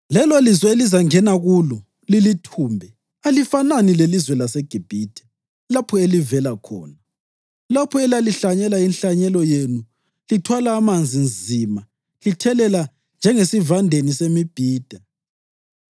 Lelolizwe elizangena kulo lilithumbe alifanani lelizwe laseGibhithe, lapho elivela khona, lapho elalihlanyela inhlanyelo yenu lithwala amanzi nzima lithelela njengesivandeni semibhida.